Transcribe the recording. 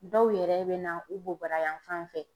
Dɔw yɛrɛ bɛ na u bobara yanfan fɛ.